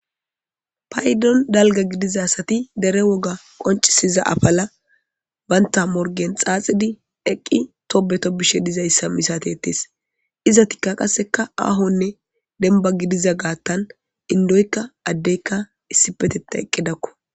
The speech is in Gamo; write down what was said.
Paydon dalgga gidiza asati dere woga qonccisiza afala banta morgen xaaxidi eqqi tobbe tobbizayssa misateettes. Izetikka qasseka aahonne dembba gidiza gaatan indoykka addeykka issippetettan eqqidakko.